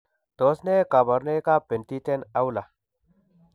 Tos nee kabarunaik ab Penttinen Aula ?